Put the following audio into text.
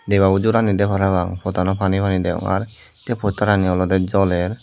debabo jor aani de parapang potanot pani pani degong aar posterani olode joler.